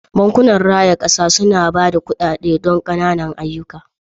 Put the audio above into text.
Bankunan raya kasa suna ba da kuɗaɗe don ƙananan ayyuka.